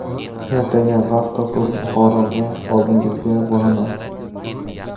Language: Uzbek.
Ertaga vaqt topib, Buxoroga oldingizga boraman.